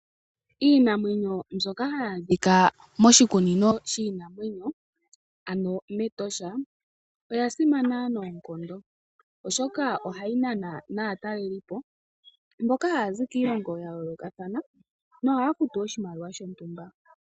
Iinamwenyo mbyoka hayaadhika moshikunino shono shiinamwenyo ano mEtosha oya simana noonkondo. Oshoka ohayi nana naatalelipo mboka haya zi kiilongo ya yoolokathana nohaya futu oshimaliwa shontumba.